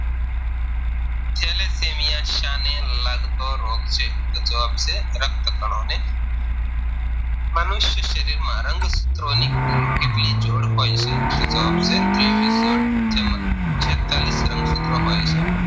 ને લગતો રોગ છે તોજવાબ છે રક્તકણોને મનુષ્ય શરીરમાં રંગ સૂત્રોની કુલ કેટલી જોડ હોય છે તો જવાબ છે તેવીસ જોડ જેમાં છેંતાલીસ રંગ સૂત્રો હોય છે